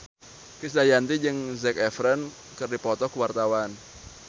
Krisdayanti jeung Zac Efron keur dipoto ku wartawan